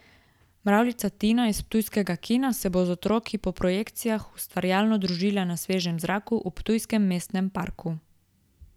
Mravljica Tina iz ptujskega kina se bo z otroki po projekcijah ustvarjalno družila na svežem zraku v ptujskem Mestnem parku.